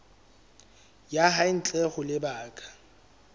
ya hae ntle ho lebaka